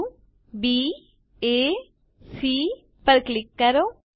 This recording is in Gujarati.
બિંદુ baસી પર ક્લિક કરો